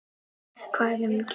Hann er samtals á pari.